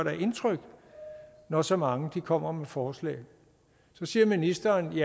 indtryk når så mange kommer med forslag så siger ministeren